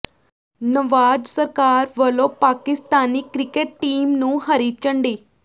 ਨਵਾਜ਼ ਸਰਕਾਰ ਵੱਲੋਂ Pakistani cricket team ਨੂੰ ਹਰੀ ਝੰਡੀ